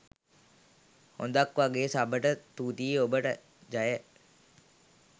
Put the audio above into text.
හොද ක් වගෙ සබට තුති ඔබට ජය.